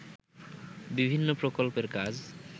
বিভিন্ন প্রকল্পের কাজ